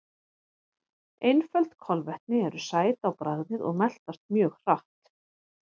Einföld kolvetni eru sæt á bragðið og meltast mjög hratt.